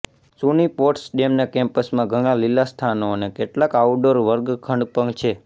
સુની પોટ્સડેમના કેમ્પસમાં ઘણાં લીલા સ્થાનો અને કેટલાક આઉટડોર વર્ગખંડ પણ છે